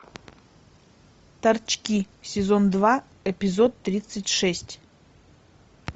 торчки сезон два эпизод тридцать шесть